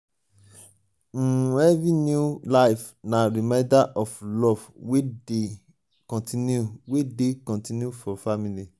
um every new life na reminder of love wey dey continue wey dey continue for family.